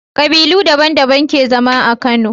Kabilu daban daban ke zama a kano